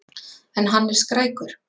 En hann er skrækur.